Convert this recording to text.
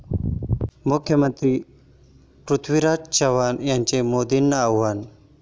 मुख्यमंत्री पृथ्वीराज चव्हाण यांचं मोदींना आव्हान